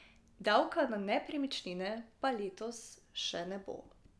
Davka na nepremičnine pa letos še ne bo.